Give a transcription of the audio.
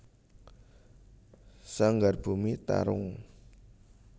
Sanggar Bumi Tarung